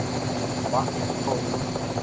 Vatn og kók.